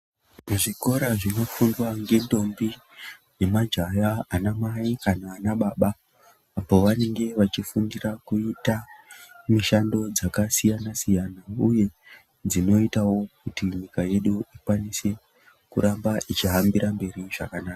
Zvikora zvinofundwa ngentombi nemajaha kana anababa pavanenge vachifundira kuita mishando dzakasiyana siyana uye dzinoitawo kuti nyika yedu akwanise kuramba ichihambira mberi zvakanaka.